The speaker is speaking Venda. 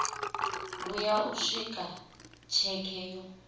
vhuya u swika tsheke yo